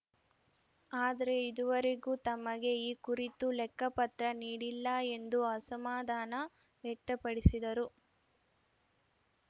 ಆದರೆ ಇದುವರೆಗೂ ತಮಗೆ ಈ ಕುರಿತು ಲೆಕ್ಕಪತ್ರ ನೀಡಿಲ್ಲ ಎಂದು ಅಸಮಾಧಾನ ವ್ಯಕ್ತಪಡಿಸಿದರು